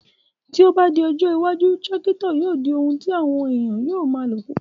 Tí o ba di ọjọ́ iwájú, Tírákítọ̀ yóò di oun tí àwọn èèyàn o ma lò púpọ̀